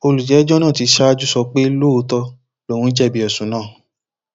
olùjẹjọ náà ti ṣáájú sọ pé lóòótọ lòun jẹbi ẹsùn náà